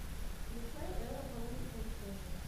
включай элла получит повышение